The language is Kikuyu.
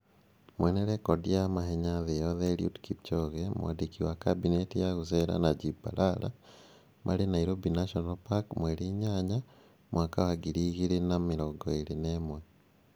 Mwene rekondi ya mahenya thĩ yoothe Eliud Kipchoge. Mwandiki wa Kabinete ya gũceera Najib Balala. Marĩ Nairobi National Park mweri 8, 2021.